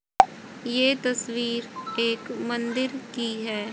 ये तस्वीर एक मंदिर की है।